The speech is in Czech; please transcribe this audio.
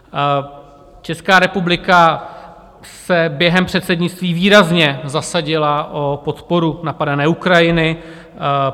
Česká republika se během předsednictví výrazně zasadila o podporu napadené Ukrajiny.